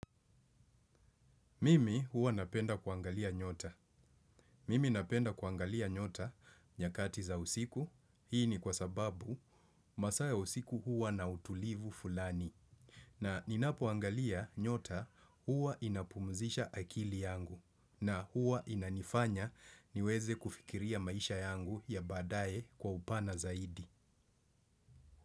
Mimi huwa napenda kuangalia nyota. Mimi napenda kuangalia nyota nyakati za usiku. Hii ni kwa sababu masaa ya usiku huwa na utulivu fulani. Na ninapoangalia nyota huwa inapumzisha akili yangu. Na huwa inanifanya niweze kufikiria maisha yangu ya baadaye kwa upana zaidi.